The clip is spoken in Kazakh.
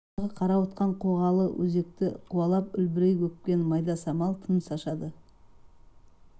желке тұстағы қарауытқан қоғалы өзекті қуалап үлбірей өпкен майда самал тыныс ашады